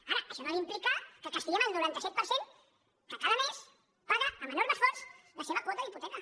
ara això no ha d’implicar que castiguem el noranta set per cent que cada mes paga amb enorme esforç la seva quota d’hipoteca